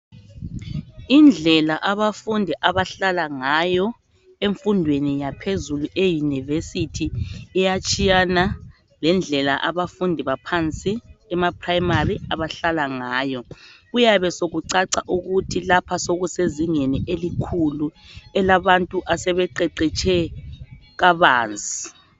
Indlela abafundi abahlala ngayo emfundweni yaphezulu eyunivesithi iyatshiyana lendlela abafundi baphansi emaphilamali abahlala ngayo. Kuyabesekucaca ukuthi lapha sekusezingeni elikhulu elabantu asebeqeqetshe kabanzi.